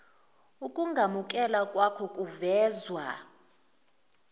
ukungamukelwa kwako kuvezwa